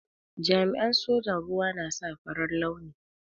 Jami'in sojan ruwa na sa farar launi.